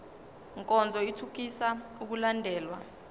nkonzo ithuthukisa ukulandelwa